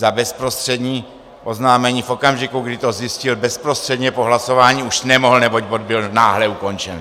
Za bezprostřední oznámení v okamžiku, kdy to zjistil, bezprostředně po hlasování už nemohl, neboť bod byl náhle ukončen.